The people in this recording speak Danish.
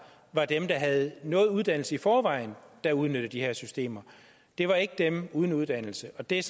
var dem der havde noget uddannelse i forvejen der udnyttede de her systemer det var ikke dem uden uddannelse og det er